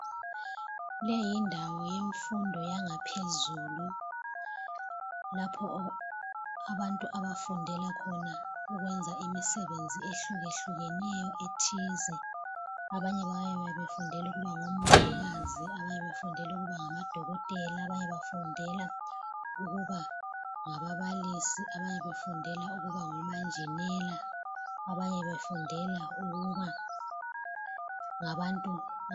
Leyi yindawo yemfundo yangaphezulu lapho abantu abafundela khona ukwenza imisebenzi ehlukehlukeneyo ethize, abanye bafundela ukuba ngomongikazi abanye bafundela ukuba ngamadokotela abanye bafundela ukuba ngababalisi abanye befundela ukuba ngomanjinela abanye befundela ukuba ngabantu.